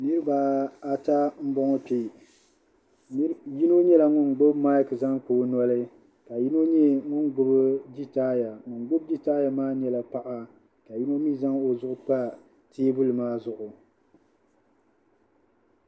Niriba ata m-bɔŋɔ kpe yino nyɛla ŋun gbubi maaki zaŋ kpa o noli ka yino nyɛ ŋun gbubi jitaaya ŋun gbubi jitaaya maa nyɛla paɣa ka yino mi zaŋ o zuɣu pa teebuli maa zuɣu